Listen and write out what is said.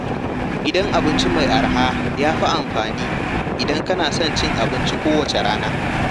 Gidan abinci mai arha ya fi amfani idan kana son cin abinci kowace rana.